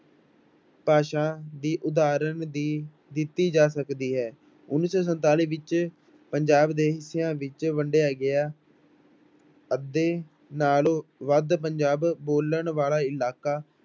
ਭਾਸ਼ਾ ਦੀ ਉਦਾਹਰਣ ਵੀ ਦਿੱਤੀ ਜਾ ਸਕਦੀ ਹੈ, ਉੱਨੀ ਸੌ ਸੰਤਾਲੀ ਵਿੱਚ ਪੰਜਾਬ ਦੇ ਹਿੱਸਿਆਂ ਵਿੱਚ ਵੰਡਿਆ ਗਿਆ ਅੱਧੇ ਨਾਲੋਂ ਵੱਧ ਪੰਜਾਬ ਬੋਲਣ ਵਾਲਾ ਇਲਾਕਾ